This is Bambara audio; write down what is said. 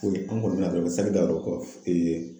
an kɔni saki da ka don kɔ